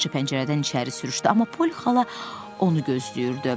Yavaşca pəncərədən içəri sürüşdü, amma Pol xala onu gözləyirdi.